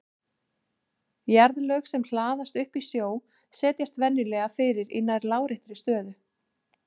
Jarðlög sem hlaðast upp í sjó setjast venjulega fyrir í nær láréttri stöðu.